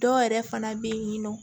Dɔw yɛrɛ fana bɛ yen nɔ